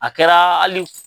A kɛra hali